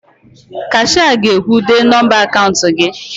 Kashịa ga-ekwu, "dee nọmba akaụnt gị"!